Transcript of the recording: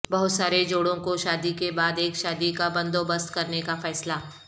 بہت سارے جوڑوں کو شادی کے بعد ایک شادی کا بندوبست کرنے کا فیصلہ